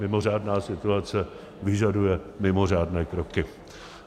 Mimořádná situace vyžaduje mimořádné kroky.